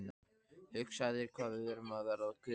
Hugsaðu þér hvað við erum að verða gömul.